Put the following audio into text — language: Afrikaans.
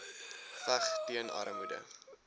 veg teen armoede